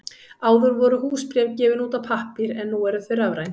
Áður voru húsbréf gefin út á pappír en nú eru þau rafræn.